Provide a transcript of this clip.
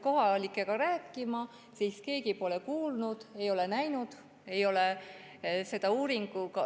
Kohalikega rääkides selgub, et keegi pole näinud ega sellest kuulnud.